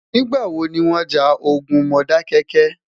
nígbà wò ní wón já ogún Modákéké?